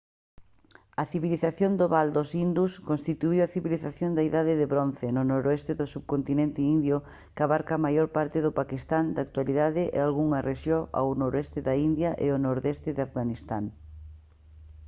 a civilización do val dos indus constituíu a civilización da idade de bronce no noroeste do subcontinente indio que abarca a maior parte do paquistán da actualidade e algunhas rexión ao noroeste da india e o nordeste de afganistán